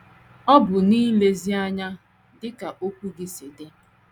Ọ bụ n’ilezi ya anya dị ka okwu gị si dị.